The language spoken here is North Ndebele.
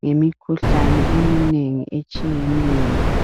ngemikhuhlane eminengi etshiyeneyo.